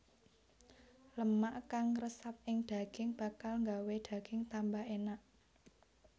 Lemak kang ngresep ing daging bakal gawé daging tambah enak